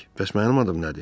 Bəs mənim adım nədir?